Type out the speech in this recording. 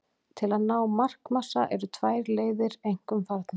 Til að ná markmassa eru tvær leiðir einkum farnar.